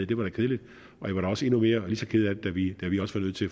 det var da kedeligt og jeg var da også endnu mere eller lige så ked af det da vi